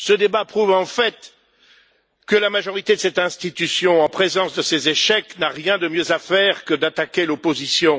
Ce débat prouve en fait que la majorité de cette institution, confrontée à ses échecs, n'a rien de mieux à faire que d'attaquer l'opposition.